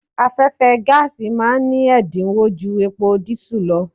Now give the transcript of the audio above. Afẹ́fẹ́ gáàsì ma ní ẹ̀dínwó ju epo dísù lọ.